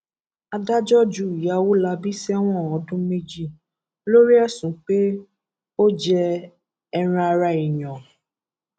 adájọ ju ìyá ọwolabi sẹwọn ọdún méjì lórí ẹsùn pé ó jẹ ẹran ara èèyàn